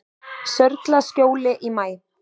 Sörlaskjóli í maí